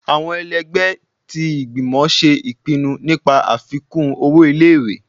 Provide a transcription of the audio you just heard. Awọn èlẹgbẹ ti ìgbímò ṣe ipínnú nipá afikun ọwọ ìlé-ìwé